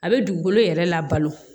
A bɛ dugukolo yɛrɛ labalo